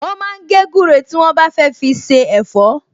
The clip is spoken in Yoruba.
Wọ́n máa ń gé gúre tí wọ́n bá fẹ́ fi se ẹ̀fọ́